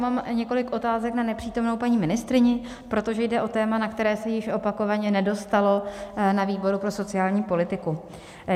Mám několik otázek na nepřítomnou paní ministryni, protože jde o téma, na které se již opakovaně nedostalo na výboru pro sociální politiku.